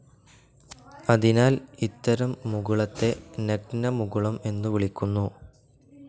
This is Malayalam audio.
അതിനാൽ ഇത്തരം മുകുളത്തെ നഗ്നമുകുളം എന്നു വിളിക്കുന്നു.